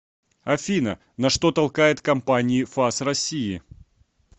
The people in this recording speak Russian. афина на что толкает компании фас россии